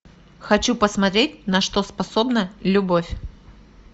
хочу посмотреть на что способна любовь